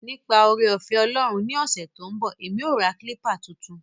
Nipa oore-ofe Olorun ni ose to n bo, emi o ra kilpa tuntun.